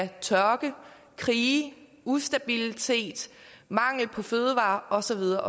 tørke krige ustabilitet mangel på fødevarer og så videre